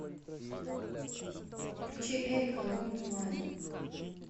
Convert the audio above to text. включи эрика лундмоен